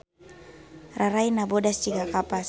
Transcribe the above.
Rarayna bodas jiga kapas